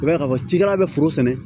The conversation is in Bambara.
I b'a ye k'a fɔ cikɛla bɛ foro sɛnɛ